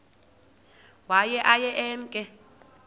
waye aye emke